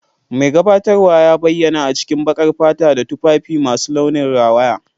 Mai gabatarwa ya bayyana a cikin baƙar fata da tufafi masu launin rawaya.